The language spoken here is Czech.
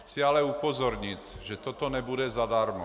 Chci ale upozornit, že to nebude zadarmo.